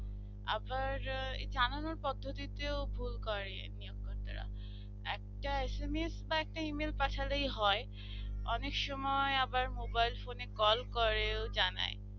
আবার জানানোর পদ্ধতিতেও ভুল করে নিয়ম বন্দরা একটা SMS বা একটা email পাঠালেই হয় অনেক সময় আবার mobile phone এ কল করে ও জানাই।